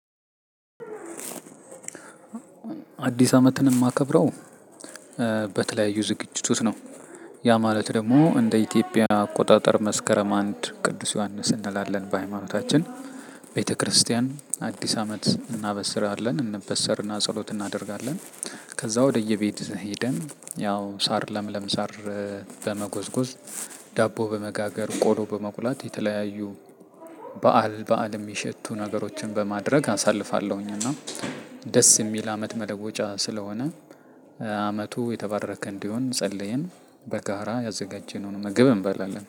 አዲስ አመትን እማከብረው በተለያዩ ዝግጅቶች ነው። ያ ማለት ደግሞ እንደ ኢትዮጵያ አቆጣጠር መስከረም አንድ ቅዱስ ዮሐንስ እንላለን በሃይማኖታችን። ቤተክርስቲያን አዲስ አመት እናበስራለን እንበሰርና ጸሎት እናደርጋለን። ከዛ ወደየቤት ሄደን ያው ሳር ለምለም ሳር በመጎዝጎዝ ዳቦ በመጋገር ቆሎ በመቁላት የተለያዩ በዓል በዓል እሚሸቱ ነገሮችን በማድረግ አሳልፋለሁኝ። እና ደስ እሚል አመት መለወጫ ስለሆነ አመቱ የተባረከ እንዲሆን ጸልየን በጋራ ያዘጋጀነውን ምግብ እንበላለን